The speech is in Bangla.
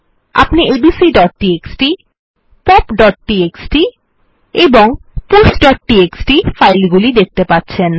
আপনি এবিসি পপ এবং pushটিএক্সটি ফাইল গুলি দেখতে পাচ্ছেন